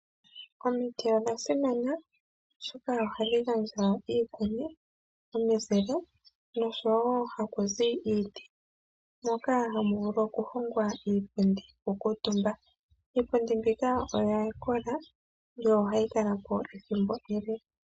Omiti odhasimana oshoka ohadhi iikuni, omizile noshowo ohakuzi iiti moka hamu vulu okuhongwa iipundi noku kuutumba . Iipundi mbika oya kola yo ohayi kalapo ethimbo ele.